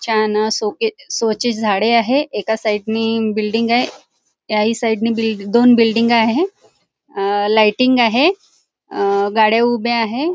छान अं सोके शोचे झाडे आहे एका साईड नी बिल्डिंगय याही साईडने बिल्डिंग दोन बिल्डिंग आहे आ लाइटिंग आहे आ गाड्या उभ्या आहे.